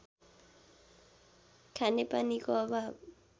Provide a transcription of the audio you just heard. खानेपानीको अभाव